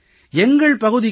எங்கள் பகுதிக்கு ஏ